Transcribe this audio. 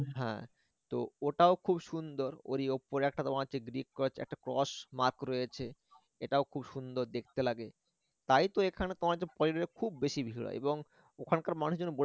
হ্যা তো ওটাও খুব সুন্দর ওরি উপরে একটা তোমার একটা হচ্ছে একটা cross mark রয়েছে এটাও খুব সুন্দর দেখতে লাগে তাই তো তোমার পর্যটকের খুব বেশি ভীড় হয় এবং ওখানকার মানুষজন